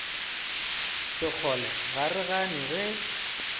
sekgole ga re gane ge